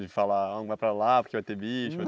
De falar, não vai para lá que vai ter bicho?